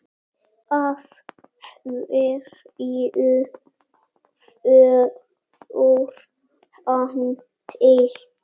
Af hverju fór hann til